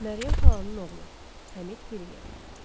Məryəm xalanın oğlu Həmid Piriyev.